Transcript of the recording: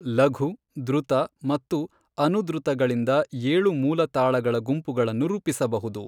ಲಘು, ದ್ರುತ ಮತ್ತು ಅನುದ್ರುತಗಳಿಂದ ಏಳು ಮೂಲ ತಾಳಗಳ ಗುಂಪುಗಳನ್ನು ರೂಪಿಸಬಹುದು.